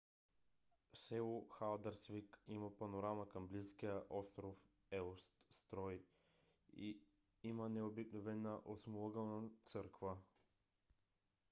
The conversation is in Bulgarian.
село халдарсвик има панорама към близкия остров еустурой и има необикновена осмоъгълна църква